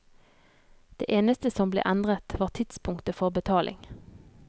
Det eneste som ble endret, var tidspunktet for betaling.